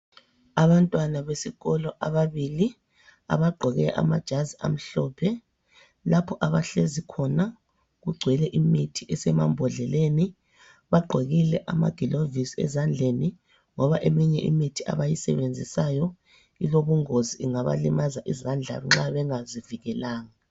Abantwana besikolo ababili abagqoke amajazi amhlophe. Lapho abahlezi khona kugcwele imithi esemambodleleni. Bagqokile amagilovisi ezandleni ngoba eminye imithi abayisebenzisayo ilobungozi, ingabalimaza izandla nxa bengazivikelanga.